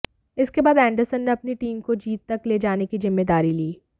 इसके बाद एंडरसन ने अपनी टीम को जीत तक ले जाने की जिम्मेदारी ली